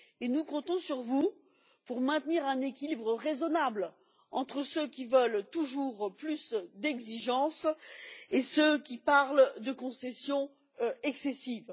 Nous comptons sur vous pour maintenir un équilibre raisonnable entre ceux qui veulent toujours plus d'exigences et ceux qui parlent de concessions excessives.